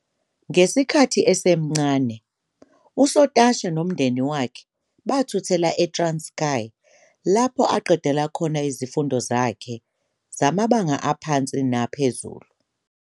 Ngesikhathi esemncane, uSotashe nomndeni wakhe bathuthela eTranskei, lapho aqedela khona izifundo zakhe zamabanga aphansi naphezulu.